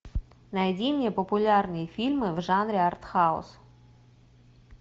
найди мне популярные фильмы в жанре артхаус